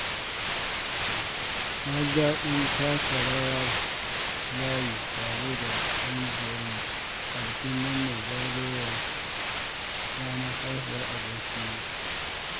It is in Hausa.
Na ji daɗin taka rawar layi tare da ƙungiyarmu a bikin murnar zagayowar ranar haihuwar abokina.